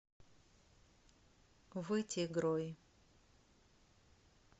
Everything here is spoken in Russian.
вытегрой